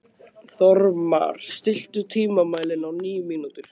Þórmar, stilltu tímamælinn á níu mínútur.